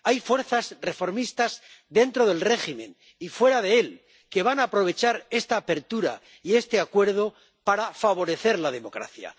Hay fuerzas reformistas, dentro del régimen y fuera de él, que van a aprovechar esta apertura y este Acuerdo para favorecer la democracia.